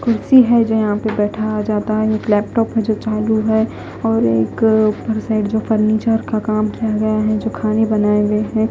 कुर्सी है जो यहां पे बैठा जाता है एक लैपटॉप है जो चालू है और एक ऊपर साइड जो फर्नीचर का काम किया गया है जो खाने बनाए हुए है।